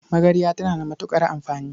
Magarya tana da matuƙar amfani.